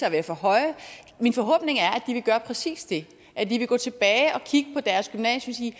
at være for høje vil gøre præcis det at de vil gå tilbage og kigge på deres gymnasium